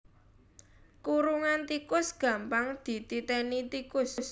Kurungan tikus gampang dititéni tikus